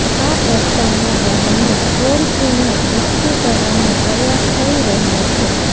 આ પ્રસ્તાવના બહાને ટોળકીને એકઠી કરવાનો પ્રયાસ થઈ રહ્યો છે